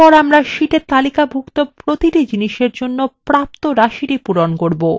এরপর আমরা শীটে তালিকাভুক্ত প্রতিটি জিনিসের জন্য প্রাপ্ত রাশিটি পূরণ করব